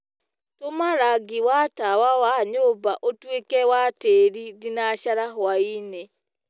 tuma rangĩ wa tawa wa nyũmba ũtũĩke wa tiiri thĩnacara hwaĩnĩ